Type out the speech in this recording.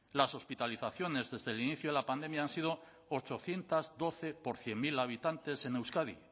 las hospitalizaciones desde el inicio de la pandemia han sido ochocientos doce por cien mil habitantes en euskadi